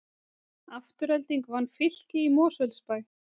Afturelding vann Fylki í Mosfellsbæ